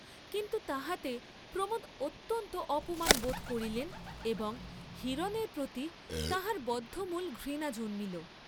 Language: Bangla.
কিন্তু তাহাতে প্রমোদ অত্যন্ত অপমান বোধ করিলেন এবং হিরণের প্রতি তাঁহার বদ্ধমূল ঘৃণা জন্মিল।